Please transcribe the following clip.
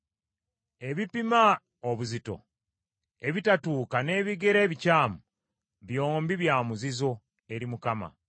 Ebipima obuzito ebitatuuka n’ebigera ebikyamu, byombi bya muzizo eri Mukama .